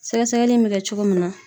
Sɛgɛsɛgɛli in be kɛ cogo min na